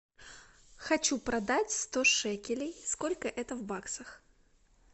хочу продать сто шекелей сколько это в баксах